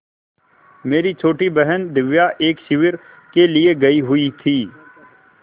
मेरी छोटी बहन दिव्या एक शिविर के लिए गयी हुई थी